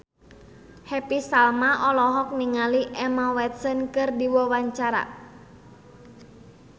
Happy Salma olohok ningali Emma Watson keur diwawancara